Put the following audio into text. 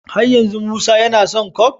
Har yanzu musa yAna son coke?